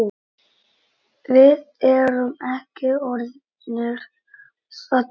Við erum ekki orðnir saddir.